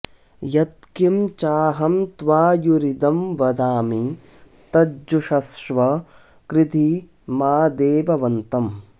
यत्किं चा॒हं त्वा॒युरि॒दं वदा॑मि॒ तज्जु॑षस्व कृ॒धि मा॑ दे॒वव॑न्तम्